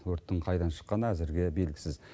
өрттің қайдан шыққаны әзірге белгісіз